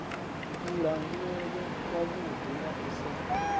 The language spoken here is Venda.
kulangulele kwavhuḓi na u sa